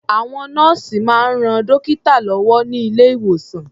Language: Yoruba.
Àwọn nọ́ọ̀sì máa ń ran dọ́kítà lọ́wọ́ ní ilé-ìwòsàn.